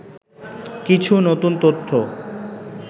কিছু নতুন তথ্য